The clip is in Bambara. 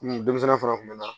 denmisɛnnin fana kun bɛ na